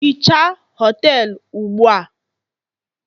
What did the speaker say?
hichaa họtelu ugbu a!